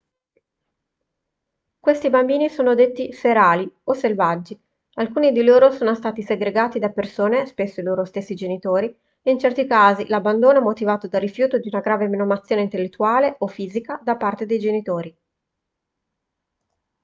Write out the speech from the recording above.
questi bambini sono detti ferali o selvaggi. alcuni di loro sono stati segregati da persone spesso i loro stessi genitori: in certi casi l'abbandono è motivato dal rifiuto di una grave menomazione intellettuale o fisica da parte dei genitori